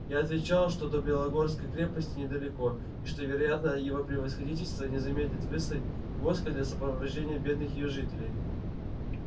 я отвечал что до белогорской крепости недалеко и что вероятно его превосходительство не замедлит выслать войско для сопровождения бедных её жителей